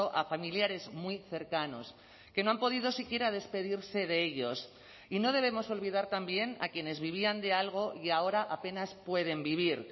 a familiares muy cercanos que no han podido siquiera despedirse de ellos y no debemos olvidar también a quienes vivían de algo y ahora apenas pueden vivir